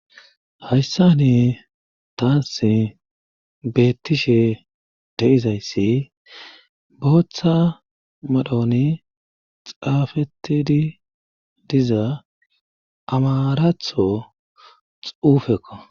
hayssa ni taas beettishe deizayssi booththa madhoni xaafetidi diza amaratho xuufekko